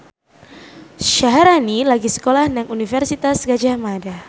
Syaharani lagi sekolah nang Universitas Gadjah Mada